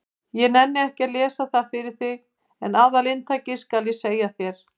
Ég nenni ekki að lesa það fyrir þig en aðalinntakið skal ég segja þér.